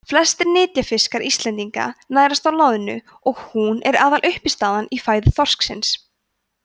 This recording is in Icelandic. flestir nytjafiskar íslendinga nærast á loðnu og hún er aðaluppistaðan í fæðu þorsksins